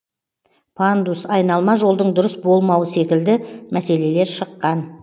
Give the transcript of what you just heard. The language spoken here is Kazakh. пандус айналма жолдың дұрыс болмауы секілді мәселелер шыққан